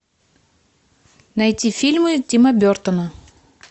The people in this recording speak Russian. найти фильмы тима бертона